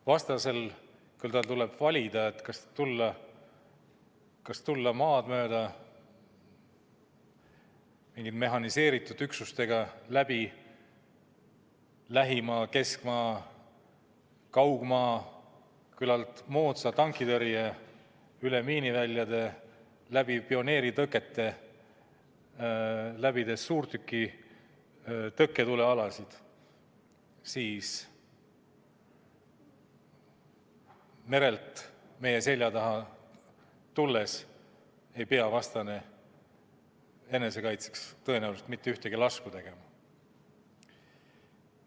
Vastasel tuleb valida, kas tulla mehhaniseeritud üksustega maad mööda, kus on lähimaa, keskmaa ja kaugmaa küllalt moodne tankitõrje, miiniväljad, pioneeritõkked, suurtükiväe tõkketule alad, või tulla merelt meie selja taha, kus ta ei pea enesekaitseks tõenäoliselt mitte ühtegi lasku tegema.